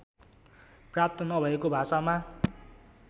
प्राप्त नभएको भाषामा